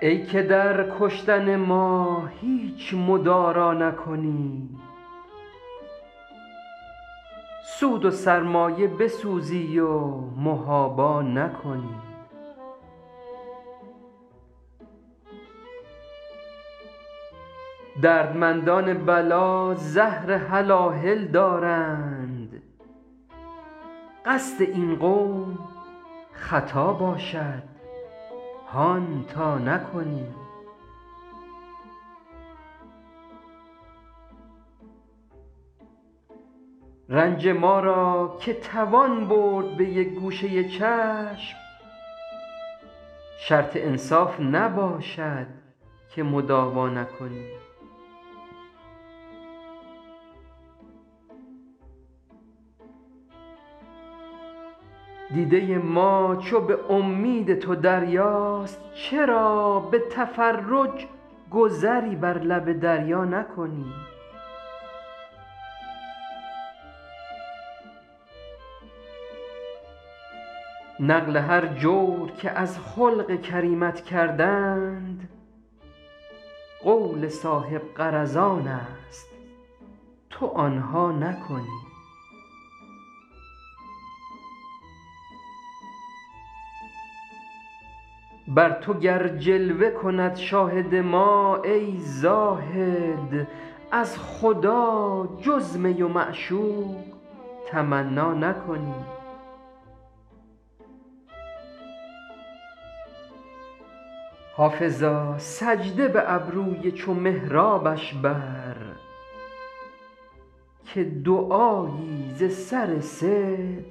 ای که در کشتن ما هیچ مدارا نکنی سود و سرمایه بسوزی و محابا نکنی دردمندان بلا زهر هلاهل دارند قصد این قوم خطا باشد هان تا نکنی رنج ما را که توان برد به یک گوشه چشم شرط انصاف نباشد که مداوا نکنی دیده ما چو به امید تو دریاست چرا به تفرج گذری بر لب دریا نکنی نقل هر جور که از خلق کریمت کردند قول صاحب غرضان است تو آن ها نکنی بر تو گر جلوه کند شاهد ما ای زاهد از خدا جز می و معشوق تمنا نکنی حافظا سجده به ابروی چو محرابش بر که دعایی ز سر صدق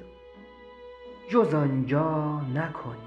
جز آن جا نکنی